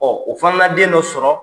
o fana na den dɔ sɔrɔ.